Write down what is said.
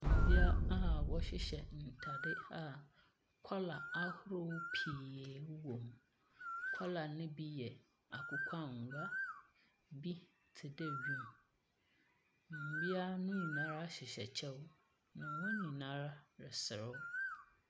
Mmea a wɔhyehyɛ ntaade a kɔla ahorow pii wowom. Kɔla no bi yɛ akokɔangoa, ebi te dɛ wim. Mmea no nyinaa ara hyehyɛ kyɛw. Wɔn nyinaa ara reserew.